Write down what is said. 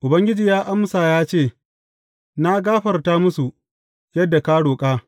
Ubangiji ya amsa ya ce, Na gafarta musu, yadda ka roƙa.